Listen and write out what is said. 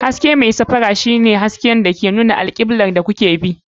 Hasken mai safara haske ne wanda ke nuna alkiblar da kuke bi.